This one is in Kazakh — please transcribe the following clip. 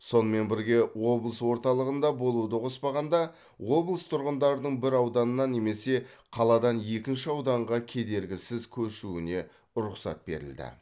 сонымен бірге облыс орталығында болуды қоспағанда облыс тұрғындарының бір ауданнан немесе қаладан екінші ауданға кедергісіз көшуіне рұқсат берілді